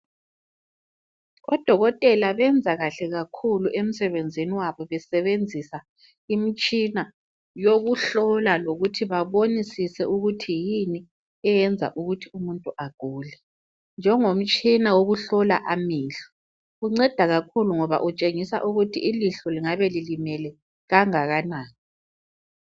Odokotela benza kahle kakhulu emsebenzini wabo besebenzisa imitshina yokuhlola lokuthi babonisise ukuthi yini eyenza ukuthi umuntu agule njengomtshina wokuhlola amehlo unceda kakhulu ngoba utshengisa ukuthi ilihlo lingabe lilimele kangakanani.